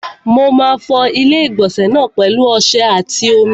Mo máa fọ ilé-ìgbọ̀nsẹ̀ náà pẹ̀lu ọsẹ àti omi.